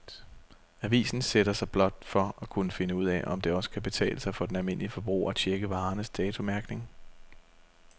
Avisen sætter sig blot for at finde ud af, om det også kan betale sig for den almindelige forbruger at checke varernes datomærkning.